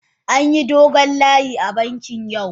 An yi dogon layi a bankin yau.